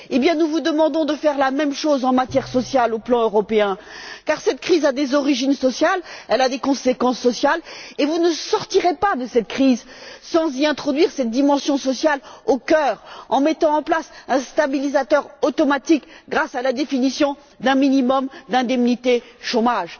Eh bien, nous vous demandons de faire la même chose en matière sociale, au plan européen, car cette crise a des origines sociales, elle a des conséquences sociales, et vous ne sortirez pas de cette crise sans introduire cette dimension sociale, sans mettre en place un stabilisateur automatique en définissant un minimum d'indemnités chômage.